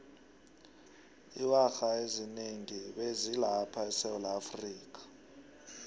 iwarha ezinengi bezi lapha esewulaafrika